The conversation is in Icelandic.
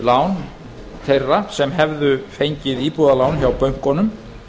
lán þeirra sem hefðu fengið íbúðalán hjá bönkunum